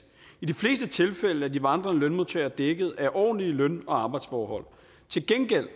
i de fleste tilfælde er de vandrende lønmodtagere dækket af ordentlige løn og arbejdsforhold til gengæld